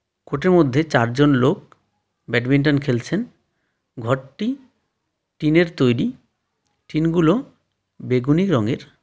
কোর্টের মধ্যে চারজন লোক ব্যাডমিন্টন খেলছেন ঘরটি টিনের তৈরি টিনগুলো বেগুনি রংয়ের.